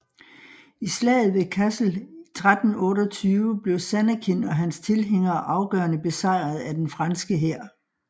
I Slaget ved Cassel 1328 blev Zannekin og hans tilhængere afgørende besejret af den franske hær